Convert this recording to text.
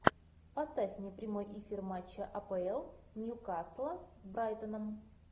поставь мне прямой эфир матча апл нью касла с брайтоном